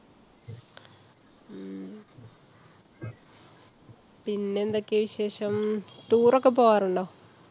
പിന്നെ എന്തെക്കെ വിശേഷം? tour ഒക്കെ പോകാറുണ്ടോ?